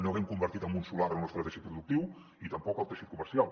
no haguem convertit en un solar en el nostre teixit productiu i tampoc el teixit comercial